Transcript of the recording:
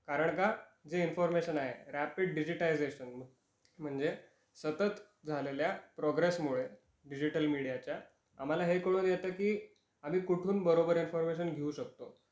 कारण का जे इन्फॉरमेशन आहे रॅपिड डिजिटाईझशन म्हणजे सतत झालेल्या प्रोग्रेसमुळे डिजिटल मिडियाच्या आम्हाला हे कळून येतं की आम्ही कुठून बरोबर इन्फॉर्मशन घेऊ शकतो